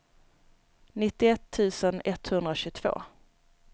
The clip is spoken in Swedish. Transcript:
nittioett tusen etthundratjugotvå